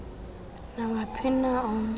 nawuphi na omnye